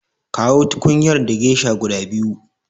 Kawo tukunyar da gesha guda biyu.